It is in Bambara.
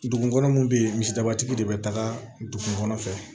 Dugu kɔnɔ mun bɛ yen misidabatigi de bɛ taga dugu kɔnɔ fɛ